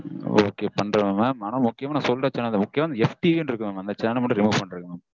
Ok பண்ணிருவேன் mam ஆனா முக்கியமா நா சொல்ற channel முக்கியமா அந்த F. T. V னு இருக்குல்ல mam அந்த channel மட்டும் remove பண்ணிருங்க mam